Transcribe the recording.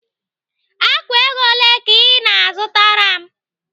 Ákwà ego ole ka ị na-azụtara m?